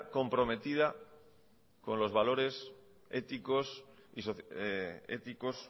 comprometida con los valores éticos